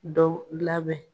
Dɔ labɛn